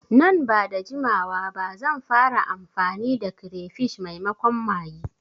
Nan bada jimawa ba zan fara amfani da kirefish maimakon maggi